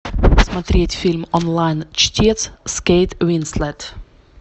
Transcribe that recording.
смотреть фильм онлайн чтец с кейт уинслет